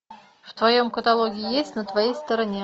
в твоем каталоге есть на твоей стороне